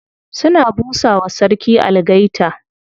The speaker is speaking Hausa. Suna busa wa sarki algaita.